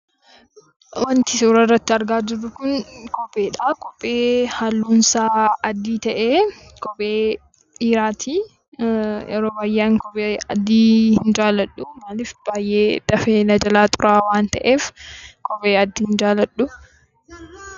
Wanti suura kanarratti argaa jirru kun kopheedha. Kophee halluun isaa adii ta'e, kophee dhiiraati. Yeroo baay'ee ani kophee adii hin jaalladhu, maaliif dafee na jalaa xuraa'a waan ta’eef kophee adii hin jaalladhu.